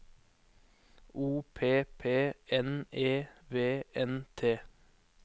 O P P N E V N T